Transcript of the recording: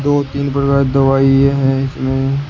दो तीन प्रकार दवाई है इसमें।